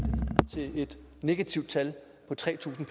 et negativt tal på tre tusind